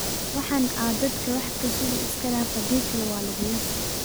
Waxan aa dadhka wax kasugi iskadaaf hadikale walakuyasii.